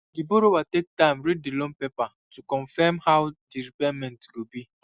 the borrower take time read the loan paper to confirm how the repayment go be